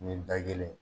Ni da kelen